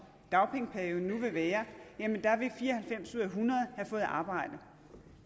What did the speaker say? dagpengeperioden nu vil være vil fire og halvfems ud af hundrede have fået et arbejde